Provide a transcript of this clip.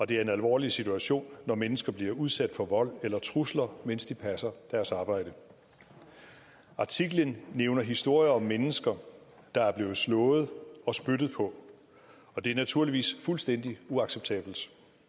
det er en alvorlig situation når mennesker bliver udsat for vold eller trusler mens de passer deres arbejde artiklen nævner historier om mennesker der er blevet slået og spyttet på og det er naturligvis fuldstændig uacceptabelt